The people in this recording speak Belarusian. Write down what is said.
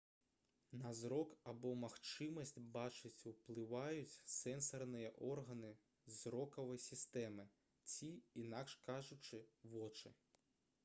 на зрок або магчымасць бачыць уплываюць сэнсарныя органы зрокавай сістэмы ці інакш кажучы вочы